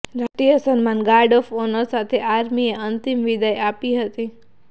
રાષ્ટ્રીય સન્માન guard of honour સાથે આર્મીએ અંતિમ વિદાય આપી હતી